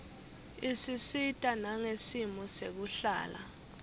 isisita nangesimo sekuhlala